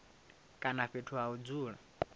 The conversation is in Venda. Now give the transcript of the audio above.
kana fhethu ha u dzula